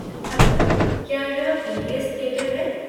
Hello, क्या यह PVS. Theatre है?